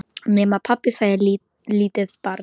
Nema, pabbi, sagði lítið barn.